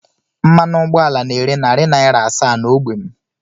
Mmanụ ụgbọala na-ere narị naira asaa n'ógbè m